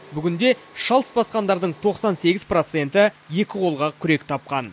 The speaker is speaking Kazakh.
бүгінде шалыс басқандардың тоқсан сегіз проценті екі қолға күрек тапқан